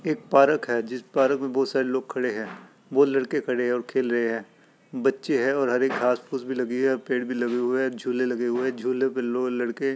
एक पारक है जिस पारक में बजोत सारे लोग खड़े हैं। बोहोत लड़के खड़े हैं और खेल रहे हैं। बच्चे है और हरी घास फूस भी लगी हुई है। पेड़ भी लगे हुए है। झूले भी लगे हुए हैं। झूले पर लोग लड़के --